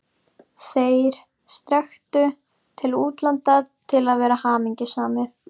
ÞEIR strekktu til útlanda til að vera hamingjusamir.